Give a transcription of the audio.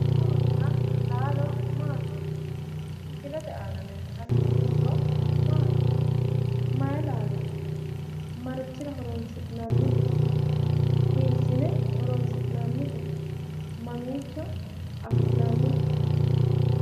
Muronna laalo Maati? Misilete aana leeltanni noo muro Maati Mayi laalooti? Marichira horonsi'nannite? Hiissine horonsi'nannite? Mamiicho afi'nannite?